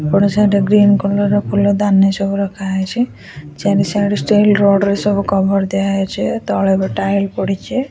ଏପଟ ସାଇଡ୍ ରେ green colour ର ଫୁଲଦାନୀ ସବୁ ରଖା ହେଇଛି ଚାରି ସାଇଡ୍ ଷ୍ଟିଲ ରଡ୍‌ ରେ ସବୁ କଭର୍‌ ଦିଆ ହେଇଛି ତଳେ ବି ଟାଇଲ୍‌ ପଡିଛି --